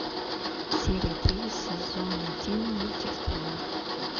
серия три сезон один мультик стрела